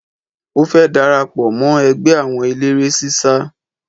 Ó fẹ́ darapọ̀ mọ́ ẹgbẹ́ àwọn eléré sísá